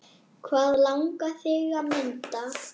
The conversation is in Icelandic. Hvað langar þig að mynda?